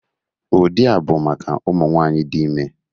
Ụdị a bụ maka ụmụ nwanyị dị ime